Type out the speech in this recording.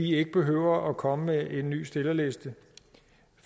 ikke behøver at komme med en ny stillerliste